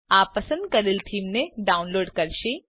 આ પસંદ કરેલ થીમને ડાઉનલોડ કરશે